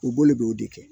U b'o de b'o de kɛ